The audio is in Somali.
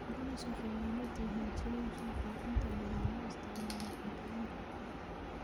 Prawns waxay la mid yihiin shrimp waxaana inta badan loo isticmaalaa cuntooyinka badda.